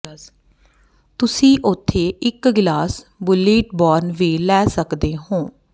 ਤੁਸੀਂ ਉੱਥੇ ਇਕ ਗਲਾਸ ਬੁਲਲੀਟ ਬੋਰਨ ਵੀ ਲੈ ਸਕਦੇ ਹੋ